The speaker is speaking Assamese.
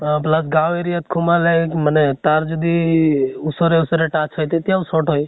বা বিলাক গাওঁ area ত সোমালে মানে তাঁৰ যদি ওচৰে ওচৰে touch হয় তেতিয়াও short হয়